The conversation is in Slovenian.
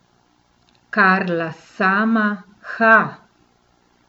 Karla sama, ha!